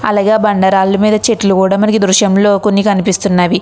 అలాగే బండరాళ్ళ మీద చెట్లు కూడా మనకి దృశ్యంలో కొన్ని కనిపిస్తున్నవి.